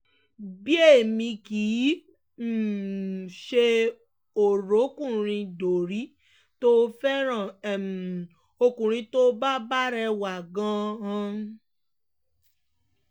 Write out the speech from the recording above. bẹ́ẹ̀ èmi kì í um ṣe o-ròkunrin-dorí tó fẹ́ràn um ọkùnrin tó bá bá rẹwà gan-an